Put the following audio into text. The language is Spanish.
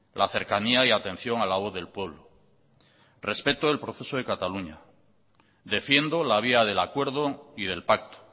la cercanía y atención a la voz del pueblo respeto el proceso de cataluña defiendo la vía del acuerdo y del pacto